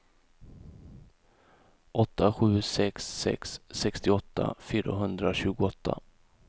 åtta sju sex sex sextioåtta fyrahundratjugoåtta